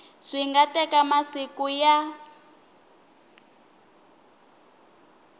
swi nga teka masiku ya